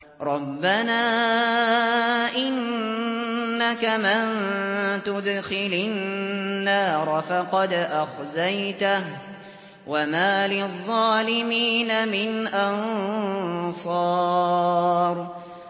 رَبَّنَا إِنَّكَ مَن تُدْخِلِ النَّارَ فَقَدْ أَخْزَيْتَهُ ۖ وَمَا لِلظَّالِمِينَ مِنْ أَنصَارٍ